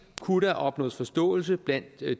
kunne opnås forståelse blandt